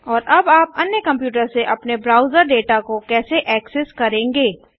और अब आप अन्य कंप्यूटर से अपने ब्राउजर डेटा को कैसे करेंगे